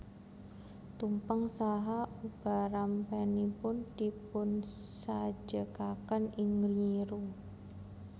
Tumpeng saha ubarampenipun dipunsajekaken ing nyiru